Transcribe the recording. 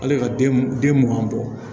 Hali ka den mugan bɔ